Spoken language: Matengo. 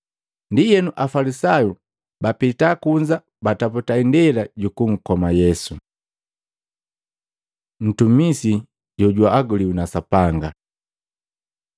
Ndienu Afalisayu bapita kunza bataputa indela jukunkoma Yesu. Mtumisi jojuaguliwi na Sapanga